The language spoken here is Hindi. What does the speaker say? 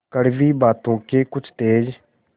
कड़वी बातों के कुछ तेज